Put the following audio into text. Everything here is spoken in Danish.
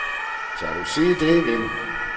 Tør du sige det igen?